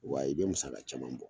Wa i be musaka caman bɔ